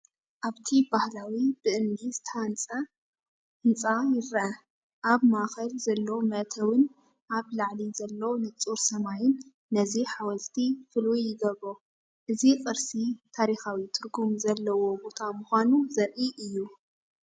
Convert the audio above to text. ኣብቲ ባህላዊ ብእምኒ ዝተሃንጸ ህንጻ ይርአ። ኣብ ማእከል ዘሎ መእተዊን ኣብ ላዕሊ ዘሎ ንጹር ሰማይን ነዚ ሓወልቲ ፍሉይ ይገብሮ። እዚ ቅርሲ ታሪኻዊ ትርጉም ዘለዎ ቦታ ምዃኑ ዘርኢ እዩ።